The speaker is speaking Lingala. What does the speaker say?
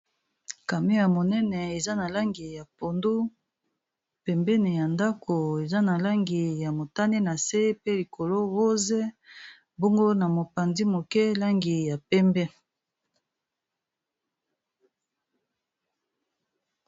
Camion ya monene eza na langi ya pondu pembeni ya ndako eza na langi ya motane na se pe likolo rose bongo na mopanzi moke langi ya pembe.